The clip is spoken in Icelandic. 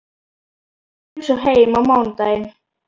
Ég kem svo heim á mánudaginn.